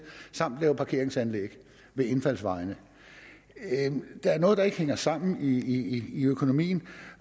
samt lave parkeringsanlæg ved indfaldsvejene at der er noget der ikke hænger sammen i økonomien